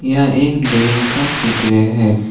यह एक डेम का चित्र है।